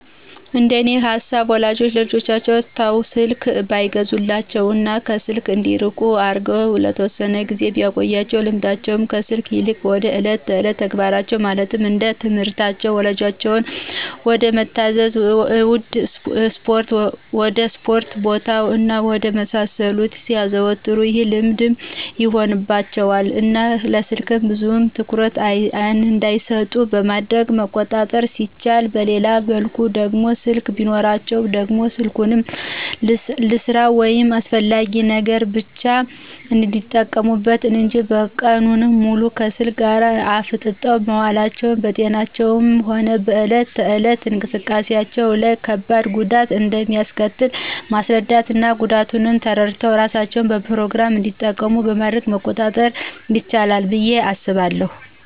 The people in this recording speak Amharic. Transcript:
እንደኔ ሃሳብ ወላጆች ለልጆቻቸው ተው ስልክ ባይገዙላቸው እና ከስልክ እንዲርቁ አርገው ለተወሰነ ጊዜ ቢያቆዪአቸው ልምዳቸው ከስልክ ይልቅ ወደ እለት እለት ተግባራቸው ማለትም ወደትምህርታቸው፣ ወላጆቻቸውን ወደመታዛዝ፣ ወድ እስፖርት ቦታ እና ወደ መሳሰሉት ሲያዘወትሩ ይህ ልምድ ይሆንባቸው እና ለስልክ ብዙም ትኩረት እንዳይሰጡት በማድረግ መቆጣጠር ሲቻል በሌላ መልኩ ደግሞ ስልክ ቢኖራቸውም ደግሞ ስልኩን ልስራ ወይም ለአስፈላጊ ነገር ብቻ እንዲጠቀሙበት እንጅ ቀኑን ሙሉ ከስልክ ጋር አፍጠው መዋላቸው በጤናቸውም ሆነ በእለት እለት እንቅስቃሴዎቻቸው ላይ ከባድ ጉዳት እንደሚአስከትል ማስራዳት እና ጉዳቱን ተረድተው እራሳቸው በፕሮግራም እንዲጠቀሙ በማድረግ መቆጣጠር ይችላል ብዬ አስባለሁ።